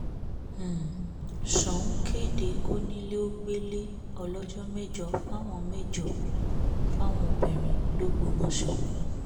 um ṣòun kéde kọ́ńilẹ́-ò-gbẹ́lẹ́ ọlọ́jọ́ mẹ́jọ fáwọn mẹ́jọ fáwọn obìnrin lọgbọ́mọso